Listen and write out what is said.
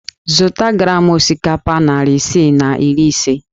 Zụta gram osikapa narị isii na iri ise!